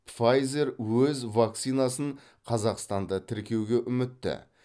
файзер өз вакцинасын қазақстанда тіркеуге үмітті